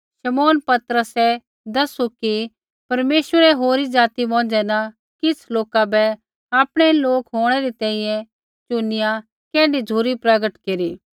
शमौन पतरसै दैसू कि परमेश्वरै होरी ज़ाति मौंझ़ै न किछ़ लोका बै आपणै लोक होंणै री तैंईंयैं चुनिया कैण्ढी झ़ुरी प्रगट केरी